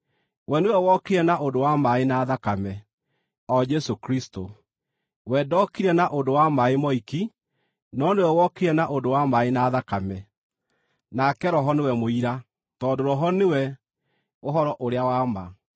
We nĩwe wokire na ũndũ wa maaĩ na thakame, o Jesũ Kristũ. We ndokire na ũndũ wa maaĩ moiki, no nĩwe wokire na ũndũ wa maaĩ na thakame. Nake Roho nĩwe mũira, tondũ Roho nĩwe ũhoro ũrĩa wa ma.